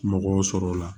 Mɔgɔw sɔrɔ la